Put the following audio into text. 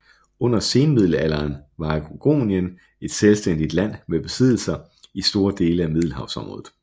Under senmiddelalderen var Aragonien et selvstændigt land med besiddelser i store dele af Middelhavsområdet